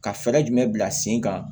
Ka fɛɛrɛ jumɛn bila sen kan